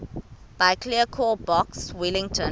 biblecor box wellington